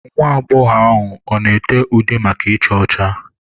Nwa agbọghọ ahụ ọ na ete ude maka icha ọcha?